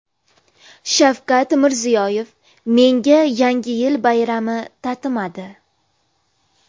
Shavkat Mirziyoyev: Menga Yangi yil bayrami tatimadi .